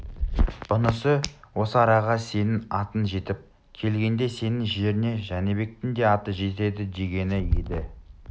бұнысы осы араға сенің атың жетіп келгенде сенің жеріңе жәнібектің де аты жетеді дегені еді